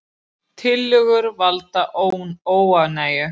Tillögur valda óánægju